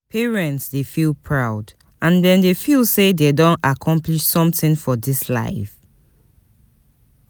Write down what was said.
Parents de feel proud and dem de feel say dem don accomplish something for this life